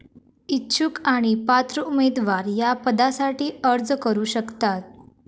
इच्छुक आणि पात्र उमेदवार या पदासाठी अर्ज करु शकतात.